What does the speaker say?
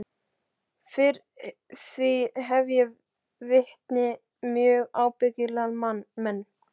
Fyrir því hef ég vitni, mjög ábyggilega menn.